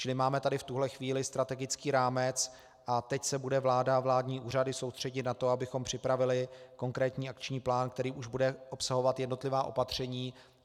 Čili máme tady v tuhle chvíli strategický rámec a teď se budou vláda a vládní úřady soustřeďovat na to, abychom připravili konkrétní akční plán, který už bude obsahovat jednotlivá opatření.